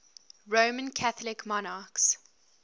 roman catholic monarchs